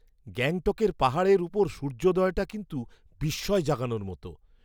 গ্যাংটকের পাহাড়ের ওপর সূর্যোদয়টা কিন্তু বিস্ময় জাগানোর মতন!